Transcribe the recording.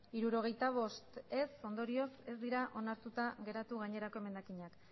hirurogeita bost ez ondorioz ez dira onartuta geratu gainerako emendakinak